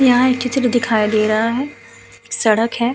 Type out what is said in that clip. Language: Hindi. यहां एक किचल दिखाई दे रहा है। सड़क है।